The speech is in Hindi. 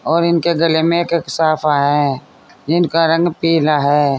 और इनके गले में एक एक साफा है जिनका रंग पीला है।